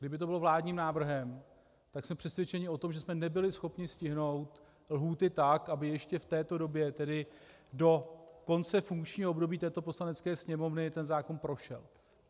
Kdyby to bylo vládním návrhem, tak jsme přesvědčeni o tom, že jsme nebyli schopni stihnout lhůty tak, aby ještě v této době, tedy do konce funkčního období této Poslanecké sněmovny, ten zákon prošel.